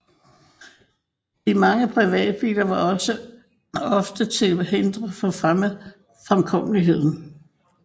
De mange privatbiler var også ofte til hinder for fremkommeligheden